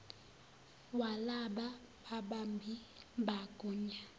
walaba babambi magunya